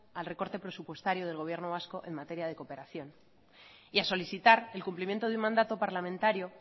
al recorte presupuestario del gobierno vasco en materia de cooperación y a solicitar el cumplimiento del mandato parlamentario